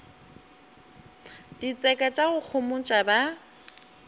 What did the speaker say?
ditseka tša go homotša ba